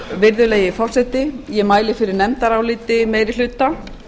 virðulegi forseti ég mæli fyrir nefndaráliti meiri hluta